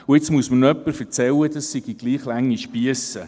Und jetzt soll mir noch jemand erzählen, dies seien gleich lange Spiesse.